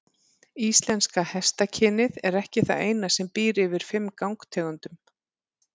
Íslenska hestakynið er ekki það eina sem býr yfir fimm gangtegundum.